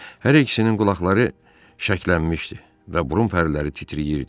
Hər ikisinin qulaqları şəklənmişdi və burun pərləri titrəyirdi.